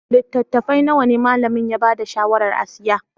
Littattafai nawa ne malamin ya ba da shawarar a siya?